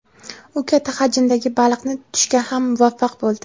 U katta hajmdagi baliqni tutishga ham muvaffaq bo‘ldi.